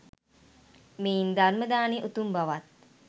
මෙයින් ධර්ම දානය උතුම් බවත්